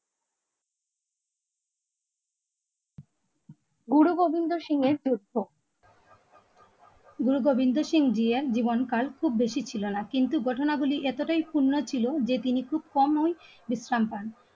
গুরু গোবিন্দ সিং যুদ্ধ গুরু গোবিন্দ সিং জিয়ার জীবনকাল খুব বেশি ছিল না. কিন্তু ঘটনাগুলি এতটাই ক্ষুণ্ণ ছিল যে তিনি খুব কম নয়